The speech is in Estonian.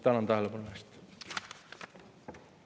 Tänan tähelepanu eest!